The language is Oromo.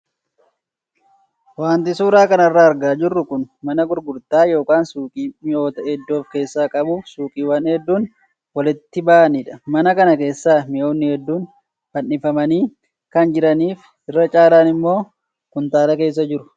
Wanti suuraa kanarraa argaa jirru kun mana gurgurtaa yookaan suuqii mi'oota hedduu of keessaa qabuu fi suuqiiwwan hedduun walitti bahanidha. Mana kana keessa mi'oonni hedduun fannifamanii kan jiranii fi irra caalaan immoo kuntaala keessa jiru.